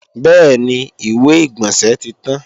Bẹ́ẹ̀ni, ìwé-ìgbọ̀nsẹ̀ tí tán